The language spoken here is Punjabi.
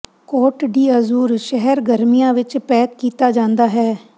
ਕੋਟ ਡੀ ਅਜ਼ੂਰ ਸ਼ਹਿਰ ਗਰਮੀਆਂ ਵਿੱਚ ਪੈਕ ਕੀਤਾ ਜਾਂਦਾ ਹੈ